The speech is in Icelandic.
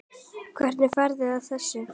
Hvernig ferðu að þessu?